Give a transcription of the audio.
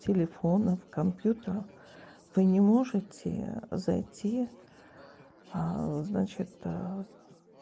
телефонов компьютеров вы не можете зайти значит